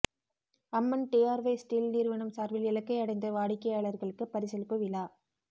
அம்மன் TRY steel நிறுவனம் சார்பில் இலக்கை அடைந்த வாடிக்கையாளர்களுக்கு பரிசளிப்பு விழா